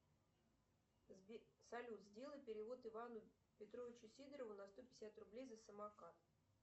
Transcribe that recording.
салют сделай перевод ивану петровичу сидорову на сто пятьдесят рублей за самокат